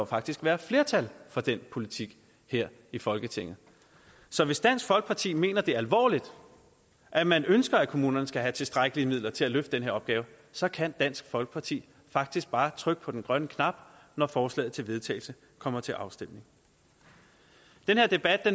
faktisk være flertal for den politik her i folketinget så hvis dansk folkeparti mener alvorligt at man ønsker at kommunerne skal have tilstrækkelige midler til at løfte den opgave så kan dansk folkeparti faktisk bare trykke på den grønne knap når forslaget til vedtagelse kommer til afstemning den her debat